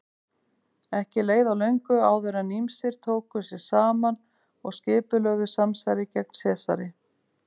Ekki leið á löngu áður en ýmsir tóku sig saman og skipulögðu samsæri gegn Sesari.